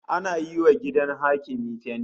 Ana yiwa gidan hakimi fenti